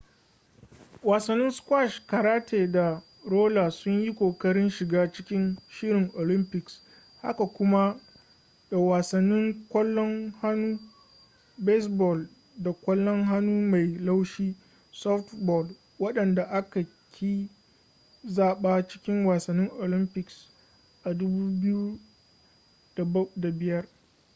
wasannin squash karate da roller sun yi kokarin shiga cikin shirin olympics haka kuma da wasannin kwallon hannu baseball da kwallon hannu mai laushi softball wadanda aka ƙi zaba cikin wasannin olympics a 2005